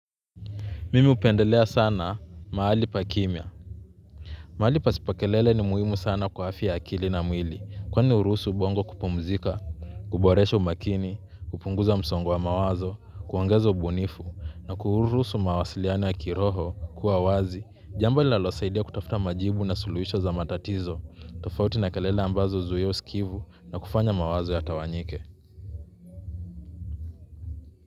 Mimi upendelea sana maali pa kimya. Maali pasipo kelele ni muhimu sana kwa afya akili na mwili. Kwani uruhusu ubongo kupumzika, kuboresha umakini, kupunguza msongo wa mawazo, kuongeza ubunifu, na kuuruhusu mawasiliano ya kiroho kuwa wazi. Jamba nilalosaidia kutafuta majibu na suluhisho za matatizo, tofauti na kelele ambazo huzia uskivu na kufanya mawazo yatawanyike.